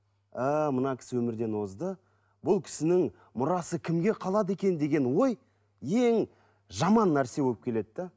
ііі мына кісі өмірден озды бұл кісінің мұрасы кімге қалады екен деген ой ең жаман нәрсе болып келеді де